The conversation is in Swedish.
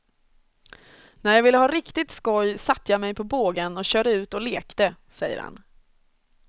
När jag ville ha riktigt skoj satte jag mig på bågen och körde ut och lekte, säger han.